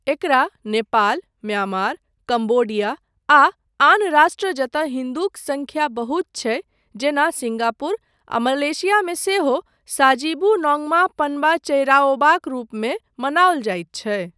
एकरा Nepal, Myanmar, Cambodia आ आन राष्ट्र जतय हिन्दूक संख्या बहुत छै जेना सिंगापुर आ मलेशिया मे सेहो साजीबू नोंगमा पनबा चेइराओबाक रूपमे मनाओल जाइत छै।